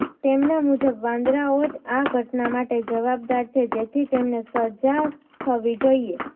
તેમના મુજબ વાંદરાઓ જ આ ઘટના માટે જવાબદાર છે જેથી તેમને સજા થવી જોઇએ